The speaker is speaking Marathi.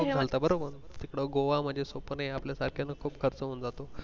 तुम्ही म्हणता बरोबर गोवा म्हणजे सोपं नाही आपल्या सारख्याना खूप खर्च होऊन जातो.